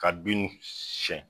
Ka bin siɲɛn